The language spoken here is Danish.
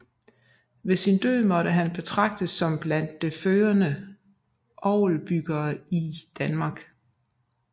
Ved sin død måtte han betragtes som blandt det førende orgelbyggere i Danmark